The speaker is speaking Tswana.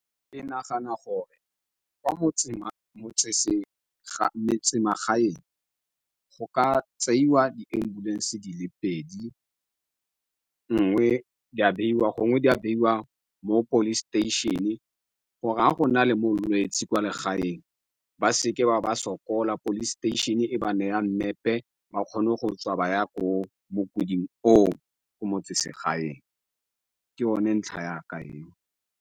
Ke nagana gore ko metsemagaeng go ka tseiwa di-ambulance di le pedi. Enngwe ya gongwe mo police station-e, gore ga go na le molwetsi kwa legaeng, ba seke ba sokola. Police station-e e ba neya mmepe, ba kgone go tswa ba ya ko mo mokuding o o ko motseselegaeng. Ke yone ntlha ya ka eo.